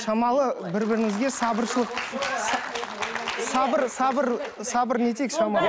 шамалы бір бірімізге сабыршылық сабыр сабыр сабыр